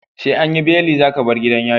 SE anyi beli zaka bar gidan yari